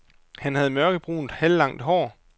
Han havde mørkebrunt halvlangt hår.